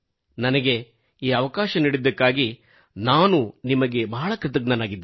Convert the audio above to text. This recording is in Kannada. ನನಗೆ ಈ ಅವಕಾಶ ನೀಡಿದ್ದಕ್ಕಾಗಿ ನಾನು ನಿಮಗೆ ಬಹಳ ಕೃತಜ್ಞನಾಗಿದ್ದೇನೆ